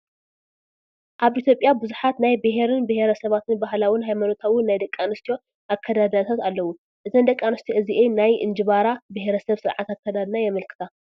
ኣብ ኢ/ያ ብዙሓት ናይ ቢሄርን ቢሄረሰባትን ባህላውን ሃይማኖታውን ናይ ደቂ ኣንስትዮ ኣከዳድናታት ኣለው፡፡ እዘን ደቂ ኣንስትዮ እዚአን ናይ እንጅባራ ብሄረ ሰብ ስርዓት ኣከዳድና የመልክታ፡፡